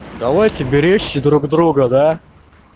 давайте беречь друг друга да